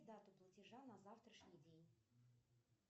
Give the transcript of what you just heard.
дату платежа на завтрашний день